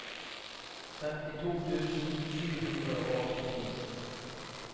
femtito tusen sju hundre og åttini